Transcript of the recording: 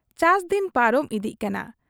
ᱪᱟᱥ ᱫᱤᱱ ᱯᱟᱨᱚᱢ ᱤᱫᱤᱜ ᱠᱟᱱᱟ ᱾